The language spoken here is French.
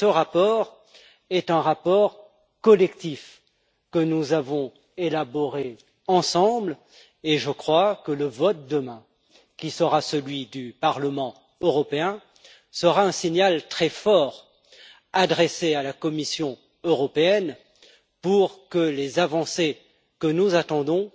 Ce rapport est un rapport collectif que nous avons élaboré ensemble, et le vote de demain, qui sera celui du Parlement européen, sera un signal très fort adressé à la Commission européenne pour que les avancées que nous attendons